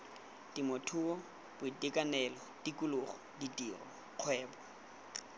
temothuo boitekanelo tikologo ditiro kgwebo